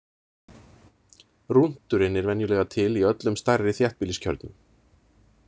Rúnturinn er venjulega til í öllum stærri þéttbýliskjörnum.